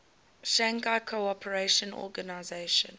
shanghai cooperation organization